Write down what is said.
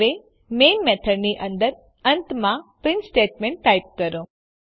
હવે મેઇન મેથડની અંદર અંતમાં પ્રીંટ સ્ટેટમેંટ ટાઈપ કરો